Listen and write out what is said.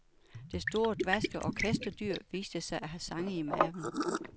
Det store dvaske orkesterdyr viste sig at have sange i maven.